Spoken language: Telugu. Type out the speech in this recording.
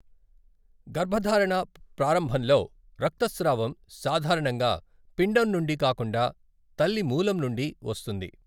గర్భధారణ ప్రారంభంలో రక్తస్రావం సాధారణంగా పిండం నుండి కాకుండా తల్లి మూలం నుండి వస్తుంది.